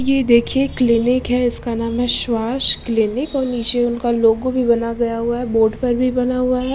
ये देखिये क्लीनिक है इसका नाम है श्वास क्लीनिक और नीचे उनका लोगों भी बना हुआ है बोर्ड पर भी बना हुआ है।